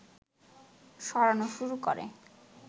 সরানো শুরু করে